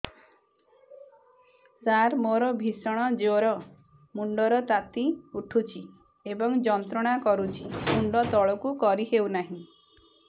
ସାର ମୋର ଭୀଷଣ ଜ୍ଵର ମୁଣ୍ଡ ର ତାତି ଉଠୁଛି ଏବଂ ଯନ୍ତ୍ରଣା କରୁଛି ମୁଣ୍ଡ ତଳକୁ କରି ହେଉନାହିଁ